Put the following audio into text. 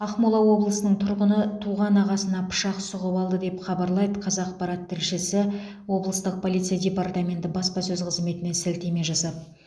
ақмола облысының тұрғыны туған ағасына пышақ сұғып алды деп хабарлайды қазақпарат тілшісі облыстық полиция департаменті баспасөз қызметіне сілтеме жасап